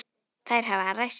Þær hafa ræst.